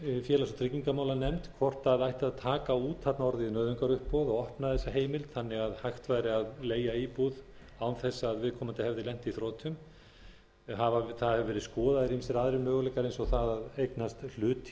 félags og tryggingamálanefnd hvort það ætti að taka út orðið nauðungaruppboð og opna þessa heimild þannig að hægt væri að leigja íbúð án ef að viðkomandi hefði lent í þrotum það hafa verið skoðaðir ýmsir aðrir möguleikar eins og það að eignast hlut í